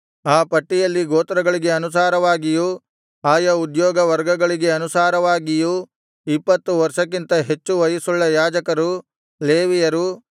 ಆ ಪಟ್ಟಿಯಲ್ಲಿ ಗೋತ್ರಗಳಿಗೆ ಅನುಸಾರವಾಗಿಯೂ ಆಯಾ ಉದ್ಯೋಗ ವರ್ಗಗಳಿಗೆ ಅನುಸಾರವಾಗಿಯೂ ಇಪ್ಪತ್ತು ವರ್ಷಕ್ಕಿಂತ ಹೆಚ್ಚು ವಯಸ್ಸುಳ್ಳ ಯಾಜಕರು ಲೇವಿಯರು